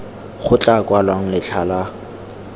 go tla kwalwang letlha la